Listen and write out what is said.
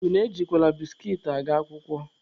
Unu ejikwa biskit aga akwụkwọ?